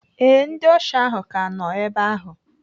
Ee, ndị ọsha ahụ ka nọ ebe ahụ.